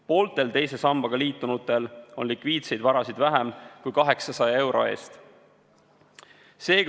Pooltel teise sambaga liitunutel on likviidseid varasid vähem kui 800 euro eest.